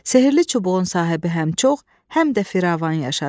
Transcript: Sehri çubuğun sahibi həm çox, həm də firavan yaşadı.